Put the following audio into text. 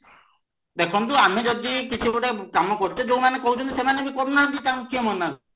ଦେଖନ୍ତୁ ଆମେ ଯଦି କିଛି ଗୋଟେ କାମ କରୁଚେ ଯୋଉମାନେ କରୁଛନ୍ତି ସେମାନେ ବି କରୁନାହାନ୍ତି ତାଙ୍କୁ କିଏ ମନା